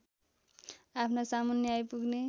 आफ्ना सामुन्ने आइपुग्ने